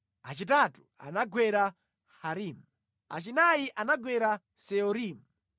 achitatu anagwera Harimu, achinayi anagwera Seorimu,